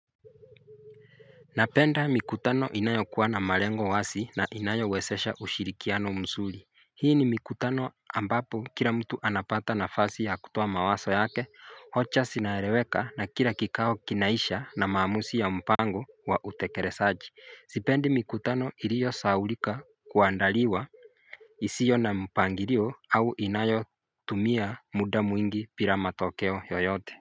Napenda mikutano inayo kuwa na malengo wasi na inayo wesesha ushirikiano msuri Hii ni mikutano ambapo kila mtu anapata na fasi ya kutoa mawaso yake, hocha sinareweka na kila kikao kinaisha na maamusi ya mpango wa utekeresaji Zipendi mikutano iliyo saulika kuandaliwa isiyo na mpangirio au inayo tumia muda mwingi bila matokeo yoyote.